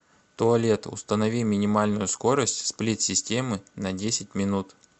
туалет установи минимальную скорость сплит системы на десять минут